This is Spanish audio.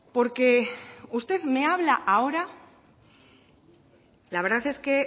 la verdad es que